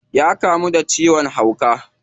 Ya kamu da ciwon hauka.